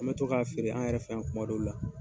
An bɛ to k'a feere an yɛrɛ fɛ yan kuma dɔw la.